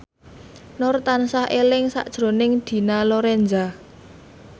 Nur tansah eling sakjroning Dina Lorenza